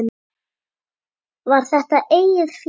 Var þetta eigið fé?